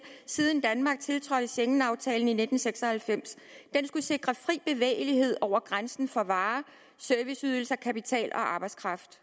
siden danmark tiltrådte schengenaftalen i nitten seks og halvfems den skulle sikre fri bevægelighed over grænsen for varer serviceydelser kapital og arbejdskraft